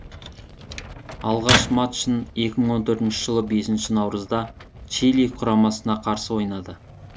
алғаш матчын екі мың он төртінші жылы бесінші наурызда чили құрамасына қарсы ойнады